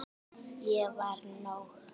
Ég var nóg.